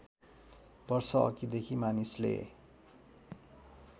वर्ष अघिदेखि मानिसले